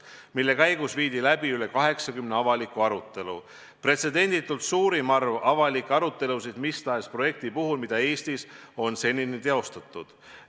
Nende käigus viidi läbi üle 80 avaliku arutelu – see on pretsedenditult suurim arv avalikke arutelusid, mida seni on Eestis mis tahes projekti puhul läbi viidud.